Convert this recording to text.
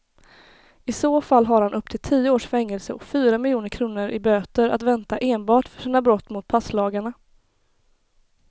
I så fall har han upp till tio års fängelse och fyra miljoner kronor i böter att vänta enbart för sina brott mot passlagarna.